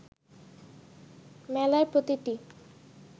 মেলায় প্রতিটি